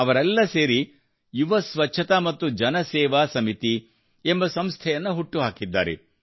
ಅವರೆಲ್ಲ ಸೇರಿ ಯುವ ಸ್ವಚ್ಛತಾ ಮತ್ತು ಜನ ಸೇವಾ ಸಮಿತಿ ಎಂಬ ಸಂಸ್ಥೆಯನ್ನು ಹುಟ್ಟು ಹಾಕಿದ್ದಾರೆ